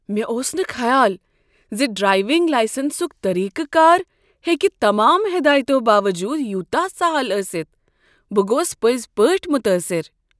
مےٚ اوس نہٕ خیال ز ڈراییونگ لایسنسک طریقہٕ کار ہیٚکہ تمام ہدایتو باوجود یوتاہ سہل ٲستھ۔ بہٕ گوس پٔزۍ پٲٹھۍ متاثر۔